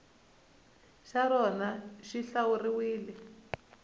xa rona xi hlawuriwile ku